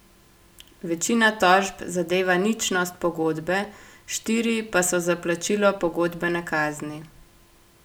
Večina tožb zadeva ničnost pogodbe, štiri pa so za plačilo pogodbene kazni.